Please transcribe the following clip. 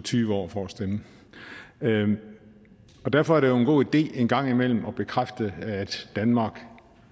tyve år for at stemme og derfor er det jo en god idé en gang imellem at bekræfte at danmark